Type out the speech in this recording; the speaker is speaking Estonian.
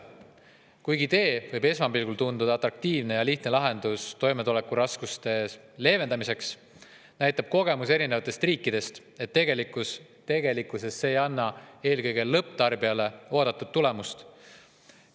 Kuigi idee võib esmapilgul tunduda atraktiivne ja lihtne lahendus toimetulekuraskuste leevendamiseks, näitab kogemus erinevatest riikidest, et tegelikkuses see ei anna eelkõige lõpptarbijale oodatud tulemust.